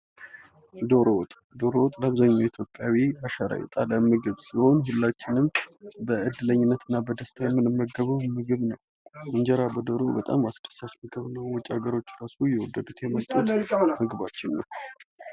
ዶሮ ወጥ በዘመነ ኢትዮጵያውያን አሻራ የጣለ የምግብ ዓይነት ሲሆን ሁላችንም በዕድለኝነትና በደስታ የምንመገበው ምግብ ነው። እንጀራ በዶሮ እጅግ በጣም አስደሳች ምግብ ነው። ውጭ ሀገር እራሱ እየወደዱት የመጡት ምግባችን ነው።